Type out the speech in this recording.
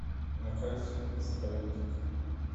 на карте заповедник